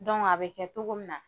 a bɛ kɛ cogo min na